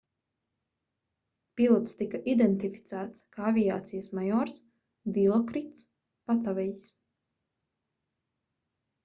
pilots tika identificēts kā aviācijas majors dilokrits patavejs